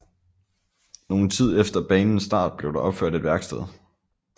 Nogen tid efter banens start blev der opført et værksted